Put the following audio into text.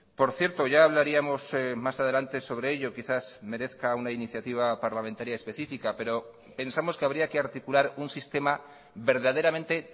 por cierto ya hablaríamos más adelante sobre ello quizás merezca una iniciativa parlamentaria específica pero pensamos que habría que articular un sistema verdaderamente